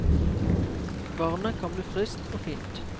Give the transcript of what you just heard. Barnet kan bli friskt og fint.